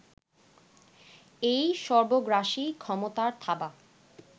এই সর্বগ্রাসী ক্ষমতার থাবা